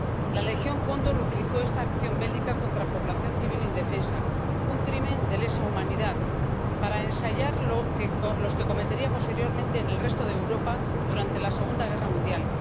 La Legión Cóndor utilizó esta acción bélica contra población civil indefensa ‒un crimen de lesa humanidad‒ para ensayar las que cometería posteriormente en el resto de Europa durante la Segunda Guerra Mundial.